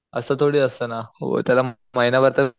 अस थोडी असत ना हो त्याला महिनाभर तर